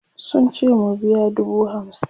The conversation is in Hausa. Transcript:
sun ce mu biya dubu hamsin